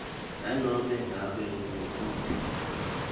nanobe ngabe ngubuphi